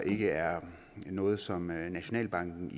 ikke er noget som nationalbanken